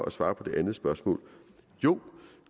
at svare på det andet spørgsmål jo